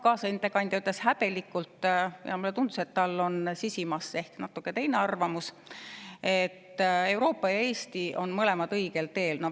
Kaasettekandja ütles häbelikult – mulle tundus, et tal on sisimas ehk natuke teine arvamus –, et Euroopa ja Eesti on mõlemad õigel teel.